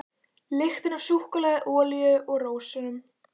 Lyktin af súkkulaði, olíu og rósum.